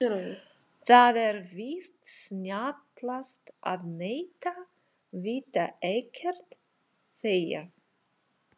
Það er víst snjallast að neita, vita ekkert, þegja.